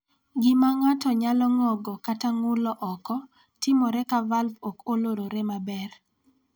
Gima ng�ato nyalo ng�ogo, kata ng�ulo oko, timore ka valv ok olorore maber.